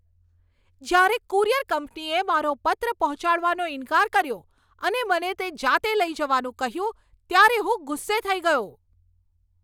જ્યારે કુરિયર કંપનીએ મારો પત્ર પહોંચાડવાનો ઈન્કાર કર્યો અને મને તે જાતે લઈ જવાનું કહ્યું ત્યારે હું ગુસ્સે થઈ ગયો.